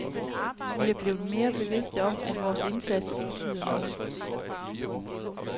Vi er blevet mere bevidste om, at vores indsats betyder noget.